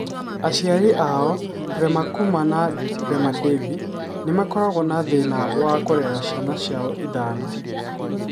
Aciari ao, Prema Kumar na Rema Devi, nĩ makoragwo na thĩna wa kũrera ciana ciao ithano.